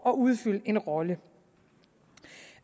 at udfylde en rolle